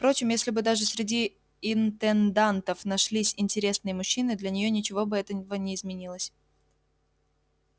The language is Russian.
впрочем если бы даже среди интендантов нашлись интересные мужчины для неё ничего бы от этого не изменилось